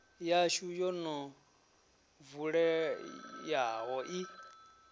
yashu yo no vuleyaho i